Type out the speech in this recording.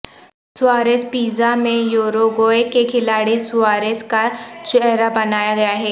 Suarez pizza میں Uruguay کے کھلاڑی سواریس کا چہرہ بنایا گیا ہے